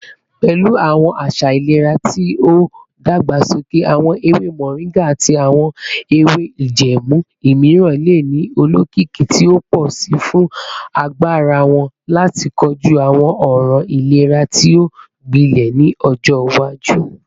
Pẹlu awọn aṣa ilera ti o dagbasoke, awọn ewe moringa ati awọn ewe ijẹẹmu miiran le ni olokiki ti o pọ si fun agbara wọn lati koju awọn ọran ilera ti o gbilẹ ni ọjọ iwaju.